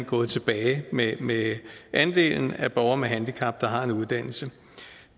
gået tilbage med med andelen af borgere med handicap der har en uddannelse